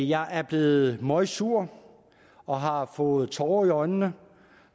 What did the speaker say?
jeg er blevet møgsur og har fået tårer i øjnene